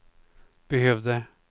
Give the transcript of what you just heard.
behövde